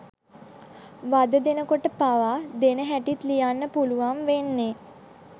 වද දෙනකොට පාවා දෙන හැටිත් ලියන්න පුළුවන් වෙන්නෙ